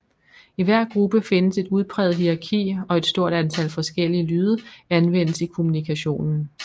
I hver gruppe findes et udpræget hierarki og et stort antal forskellige lyde anvendes i kommunikationen